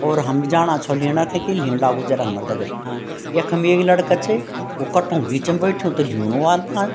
और हम भी जाणा छौ लीणा थे की लीण लागू जरा हमर दगड हा यखम एक लड़का च वो कट्टों क बीचम बैठ्युं त ल्यीणू वाल फाल।